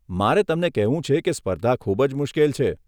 મારે તમને કહેવું છે કે સ્પર્ધા ખૂબ જ મુશ્કેલ છે.